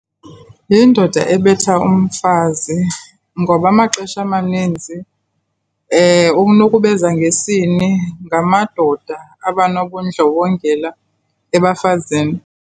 Yindoda ebetha umfazi ngoba amaxesha amaninzi ukunukubeza ngesini ngamadoda abanobundlobongela ebafazini.